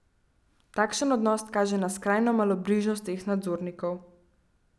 Takšen odnos kaže na skrajno malobrižnost teh nadzornikov.